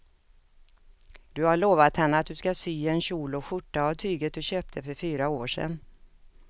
Du har lovat henne att du ska sy en kjol och skjorta av tyget du köpte för fyra år sedan.